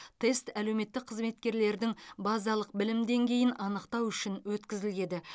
тест әлеуметтік қызметкерлердің базалық білім деңгейін анықтау үшін өткізіледі